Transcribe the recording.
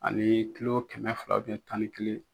Ani kulo kɛmɛ fila tan ni kelen .